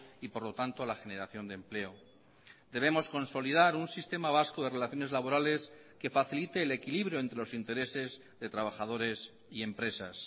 y por lo tanto la generación de empleo debemos consolidar un sistema vasco de relaciones laborales que facilite el equilibrio entre los intereses de trabajadores y empresas